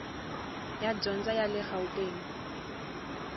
ya dyondzo ya le gauteng